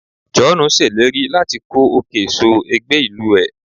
Joonu seleri lati ko okay so egbe ilu e